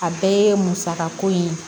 A bɛɛ ye musakako in ye